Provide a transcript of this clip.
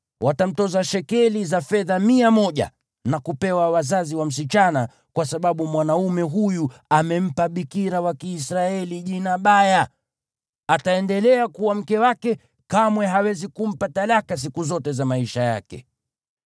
Watamtoza shekeli mia moja za fedha na kupewa wazazi wa msichana, kwa sababu mwanaume huyu amempa bikira wa Kiisraeli jina baya. Ataendelea kuwa mke wake; kamwe hawezi kumpa talaka siku zote za maisha yake.